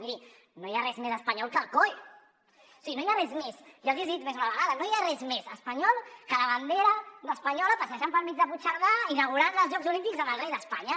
miri no hi ha res més espanyol que el coe o sigui jo els hi he dit més d’una vegada no hi ha res més espanyol que la bandera espanyola passejant pel mig de puigcerdà inaugurant els jocs olímpics amb el rei d’espanya